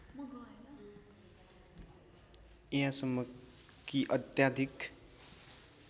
यहाँसम्म कि अत्याधिक